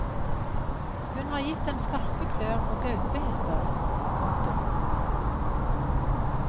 Hun har gitt dem skarpe klør og gaupehetter. punktum